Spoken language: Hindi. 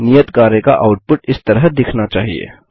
नियत कार्य का आउटपुट इस तरह दिखना चाहिए